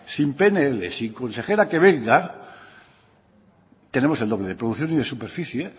sin pnl sin consejera que venga tenemos el doble de producción y de superficie